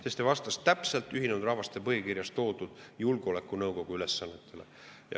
See vastas täpselt Ühinenud Rahvaste Organisatsiooni põhikirjas toodud julgeolekunõukogu ülesannetele.